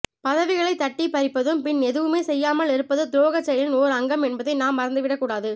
பதவிகளை தட்டிப் பறிப்பதும் பின் எதுவுமே செயயாமல் இருப்பதும் துரோகச் செயலின் ஓர் அங்கம் என்பதை நாம் மறந்துவிடக் கூடாது